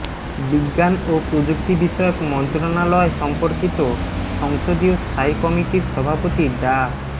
বিজ্ঞান ও প্রযুক্তি বিষয়ক মন্ত্রণালয় সম্পর্কিত সংসদীয় স্থায়ী কমিটির সভাপতি ডা